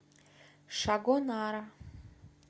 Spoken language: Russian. шагонара